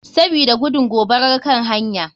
Sabida gudun gobarar kan hanya.